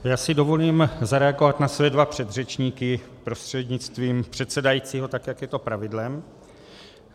Já si dovolím zareagovat na své dva předřečníky prostřednictvím předsedajícího, tak jak je to pravidlem.